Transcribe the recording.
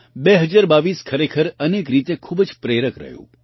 2022 ખરેખર અનેક રીતે ખૂબ જ પ્રેરક રહ્યું